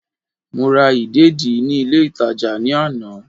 Mo ra ìdèdí ní ilé ìtàjà ní àná